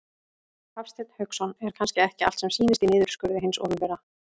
Hafsteinn Hauksson: Er kannski ekki allt sem sýnist í niðurskurði hins opinbera?